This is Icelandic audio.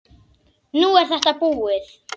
Nú er þetta búið.